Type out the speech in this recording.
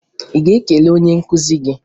Ị ga-ekele onye nkụzi gị?